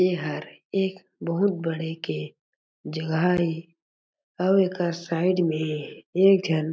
एहर एक बहुत बड़े के जगह हे अउ एकर साइट में एक झन--